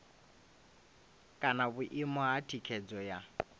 kana vhuimo ha thikhedzo ya